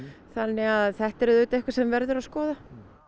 þannig að þetta er eitthvað sem verður að skoða